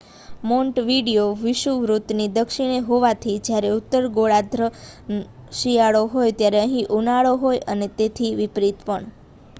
Montevideo વિષુવવૃત્તની દક્ષિણે હોવાથી જ્યારે ઉત્તર ગોળાર્ધમાં શિયાળો હોય ત્યારે અહીં ઉનાળો હોય અને તેથી વિપરીત પણ